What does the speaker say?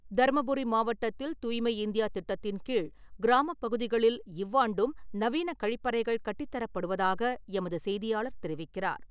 தருமபுரி மாவட்டத்தில், தூய்மை இந்தியா திட்டத்தின்கீழ், கிராமப்பகுதிகளில் இவ்வாண்டும் நவீன கழிப்பறைகள் கட்டித்தரப்படுவதாக எமது செய்தியாளர் தெரிவிக்கிறார்.